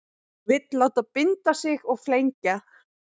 Vill láta binda sig og flengja